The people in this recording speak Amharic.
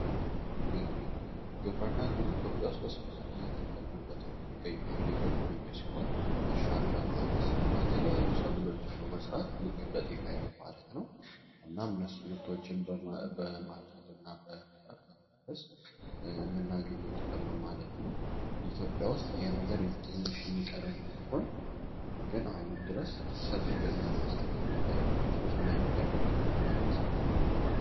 ግብር እና ግብረና እንግዲ ኢትዮጵያ ውስጥ በሰፋት እየጠቅምንበት የሚንገኛሉ የገቢ መንጀ ሲሆን እርሻን በማዕረስ እና የተሊያዩ ሰብሎጃን በመዝራት ልክ እንደ ጢፍ ዓይነት ማለት ነው። እናም እነሱ ምርቶችን በማጀድ እና በመረስ የምናገኘው ጥቅም ነው ማለት ነው ። ኢትዮጵያ ውስጥ ይህ ነገር ትንሽ የሚቀረንም ቢሆን ግን አሁንም ድረስ ሰፊ ገቢ በማስገኝት የሚታው ምእርሶስ ምናይነት የግብር እና ትራለች ስማርቶ ይገኘሉ።